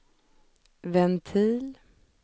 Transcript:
ventil